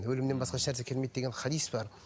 өлімнен басқа ешнәрсе келмейді деген хадис бар